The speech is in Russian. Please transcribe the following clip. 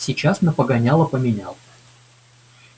сейчас на погоняло поменял